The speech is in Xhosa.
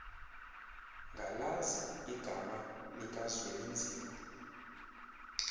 ngalazi igama likazwelinzima